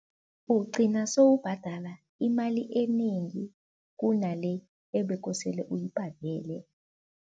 Ugcina sewubhadala imali enengi kunale ebekosele uyibhadele.